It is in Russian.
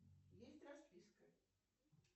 есть расписка